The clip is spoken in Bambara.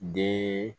Den